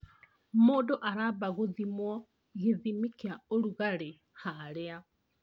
Mũndũ aramba gũthimwo gĩthimi kĩa ũrugarĩ harĩa